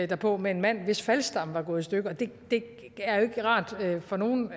derpå med en mand hvis faldstamme var gået i stykker og det er jo ikke rart for nogen